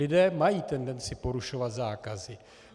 Lidé mají tendenci porušovat zákazy.